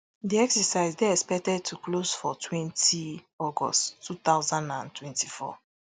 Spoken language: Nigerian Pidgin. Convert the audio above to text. di exercise dey expected to close for twenty august two thousand and twenty-four